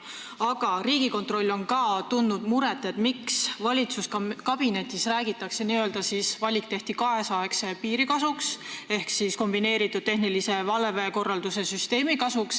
Aga Riigikontroll on tundnud muret selle üle, et nagu valitsuskabinetis räägitakse, valik tehti kaasaegse piiri kasuks ehk kombineeritud tehnilise valvekorralduse süsteemi kasuks.